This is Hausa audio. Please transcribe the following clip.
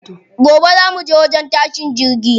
Gobe za muje wajen tashin jirgi.